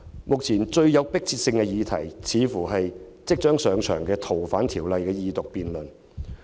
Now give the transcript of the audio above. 目前，最有迫切性的議題理應是即將上場的《逃犯條例》二讀辯論。